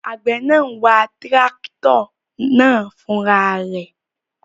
Àgbẹ̀ náà n wa tírákítọ̀ náà fúnra rẹ̀